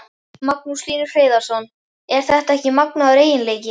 Magnús Hlynur Hreiðarsson: Er þetta ekki magnaður eiginleiki?